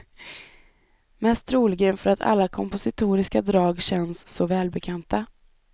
Mest troligen för att alla kompositoriska drag känns så välbekanta.